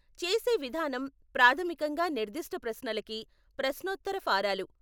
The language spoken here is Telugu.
చేసే విధానం ప్రాథమికంగా నిర్దిష్ట ప్రశ్నలకి ప్రశ్నోత్తర ఫారాలు.